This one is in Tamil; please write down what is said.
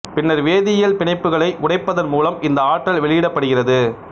பின்னர் வேதியியல் பிணைப்புகளை உடைப்பதன் மூலம் இந்த ஆற்றல் வெளியிடப்படுகிறது